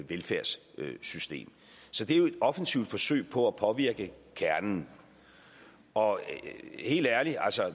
velfærdssystem så det er jo et offensivt forsøg på at påvirke kernen og helt ærligt